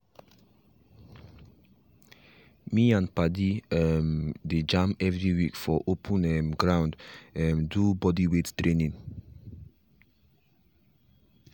me and padi um dey jam every week for open um ground um do bodyweight training.